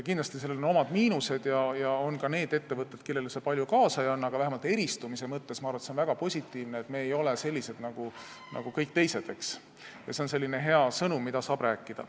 Kindlasti on sellel omad miinused ja on ka neid ettevõtteid, kellele see palju juurde ei anna, aga vähemalt eristumise mõttes, ma arvan, on see väga positiivne, sest me ei ole sellised nagu kõik teised ja see on selline hea sõnum, mida saab rääkida.